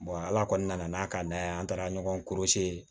ala kɔnɔna na n'a ka d'an ye an taara ɲɔgɔn